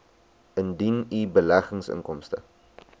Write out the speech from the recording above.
indien u beleggingsinkomste